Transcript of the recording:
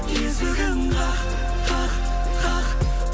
есігін қақ қақ қақ